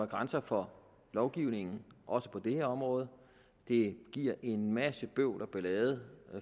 grænser for lovgivningen også på det her område det giver en masse bøvl og ballade